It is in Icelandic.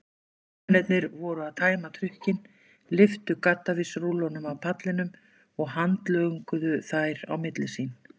Hermennirnir voru að tæma trukkinn, lyftu gaddavírsrúllum af pallinum og handlönguðu þær á milli sín.